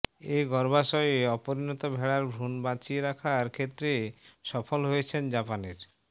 এ গর্ভাশয়ে অপরিণত ভেড়ার ভ্রূণ বাঁচিয়ে রাখার ক্ষেত্রে সফল হয়েছেন জাপানের